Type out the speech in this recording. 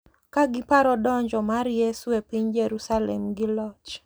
Ka giparo donjo mar Yesu e piny Jerusalem gi loch, .